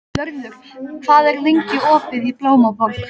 Vörður, hvað er lengi opið í Blómaborg?